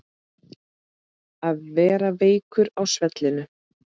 Að vera veikur á svellinu